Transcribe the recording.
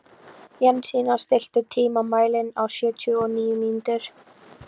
Jensína, stilltu tímamælinn á sjötíu og níu mínútur.